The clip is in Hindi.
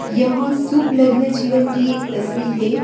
यह जीवन की एक तस्वीर हे ।